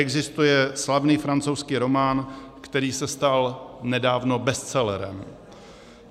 Existuje slavný francouzský román, který se stal nedávno bestselerem.